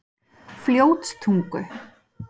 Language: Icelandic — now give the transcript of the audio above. Fljótstungu